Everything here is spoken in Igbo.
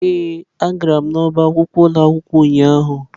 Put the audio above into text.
Ee, agara m n'ọbá akwụkwọ ụlọ akwụkwọ ụnyahụ.